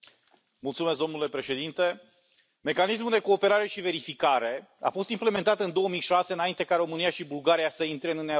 Domnule președinte, Mecanismul de Cooperare și Verificare a fost implementat în 2006, înainte ca România și Bulgaria să intre în Uniunea Europeană.